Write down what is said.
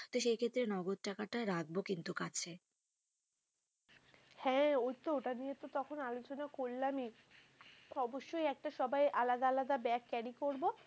তো সেই ক্ষেত্রে নগদ টাকাটা রাখবো, কিন্তু কাছে হ্যাঁ ওই তো ওটা নিয়ে তো তখন আলোচনা করলাম ই, অবশ্যই একটা সবাই আলাদা আলাদা ব্যাগ carry করব.